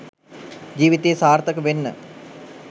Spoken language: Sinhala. ජීවිතයේ සාර්ථක වෙන්න